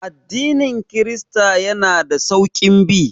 Addinin kirista yana da sauƙin bi